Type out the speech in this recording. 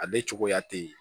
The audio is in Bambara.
Ale cogoya tɛ yen